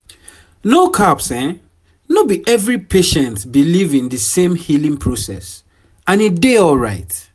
no caps no be every patient believe in di same healing process and e dey alright